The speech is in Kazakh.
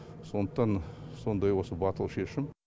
сондықтан сондай осы батыл шешім